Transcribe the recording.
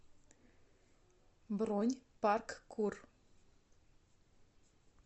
бронь парк кур